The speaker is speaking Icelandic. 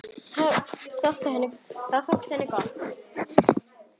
Það þótti henni gott.